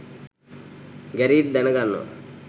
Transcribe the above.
Gareth දැන ගන්නවා